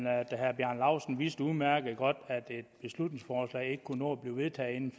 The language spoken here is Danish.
at herre bjarne laustsen udmærket godt at et beslutningsforslag ikke kunne nå at blive vedtaget inden